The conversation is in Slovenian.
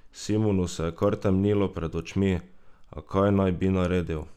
Simonu se je kar temnilo pred očmi, a kaj naj bi naredil?